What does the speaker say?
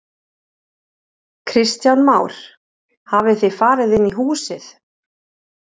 Kristján Már: Hafið þið farið inn í húsið?